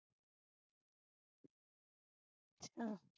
ਅਛਾ